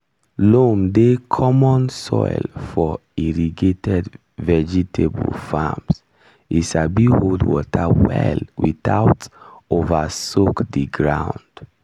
loam dey common soil for irrigated vegetable farms e sabi hold water well without over soak di ground.